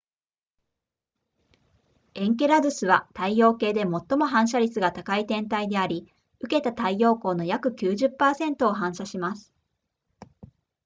エンケラドゥスは太陽系で最も反射率が高い天体であり受けた太陽光の約 90% を反射します